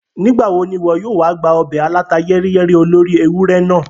Nígbàwo ni ìwọ yóò wa gba ọbẹ̀ alàta yẹ́ríyẹ́rí olóri ewurẹ naa?